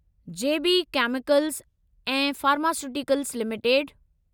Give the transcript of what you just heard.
जे B chemicals ऐं pharmaceuticals limited